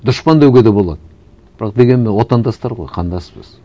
дұшпан деуге де болады бірақ дегенмен отандастар ғой қандаспыз